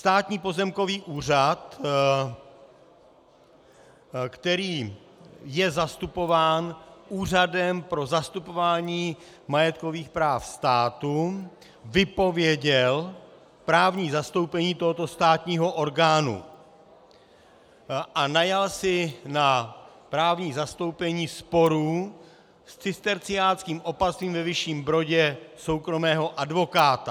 Státní pozemkový úřad, který je zastupován Úřadem pro zastupování majetkových práv státu, vypověděl právní zastoupení tohoto státního orgánu a najal si na právní zastoupení sporů s cisterciáckým opatstvím ve Vyšším Brodě soukromého advokáta.